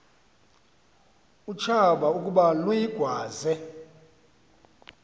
utshaba ukuba luyigwaze